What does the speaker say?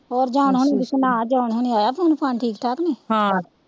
ਹੋਰ ਜੌਹਨ ਹੋਣੀ ਦੀ ਸੁਣਾ ਜੌਹਨ ਹੋਣੀ ਆਇਆ ਫੋਨ ਫਾਨ ਠੀਕ ਠਾਕ ਨੇ